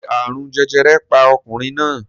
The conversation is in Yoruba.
Ṣé àrùn jẹjẹrẹ pa ọkùnrin náà?